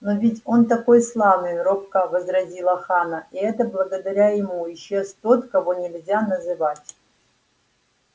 но ведь он такой славный робко возразила ханна и это благодаря ему исчез тот кого нельзя называть